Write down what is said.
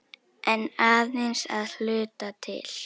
En aðeins að hluta til.